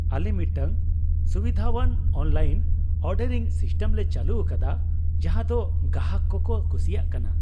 ᱟᱞᱮ ᱢᱤᱫᱴᱟᱝ ᱥᱩᱵᱤᱫᱷᱟᱣᱟᱱ ᱚᱱᱞᱟᱭᱤᱱ ᱚᱨᱰᱟᱨᱤᱝ ᱥᱤᱥᱴᱮᱢ ᱞᱮ ᱪᱟᱹᱞᱩ ᱟᱠᱟᱫᱟ ᱡᱟᱦᱟᱸ ᱫᱚ ᱜᱟᱦᱟᱠ ᱠᱚᱠᱚ ᱠᱩᱥᱤᱭᱟᱜ ᱠᱟᱱᱟ ᱾